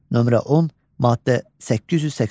Nömrə 10, maddə 882.